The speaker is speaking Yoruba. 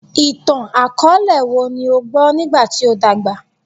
Itan-akọọlẹ wo ni o gbọ nigba ti o dagba?